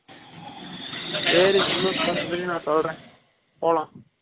சரி gym க்கு போரத பதி சொல்ரேன், போலாம்